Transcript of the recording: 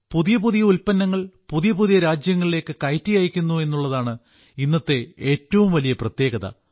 പുതിയ പുതിയ ഉല്പ്പന്നങ്ങൾ പുതിയ പുതിയ രാജ്യങ്ങളിലേക്ക് കയറ്റി അയക്കുന്നു എന്നുള്ളതാണ് ഇന്നത്തെ ഏറ്റവും വലിയ പ്രത്യേകത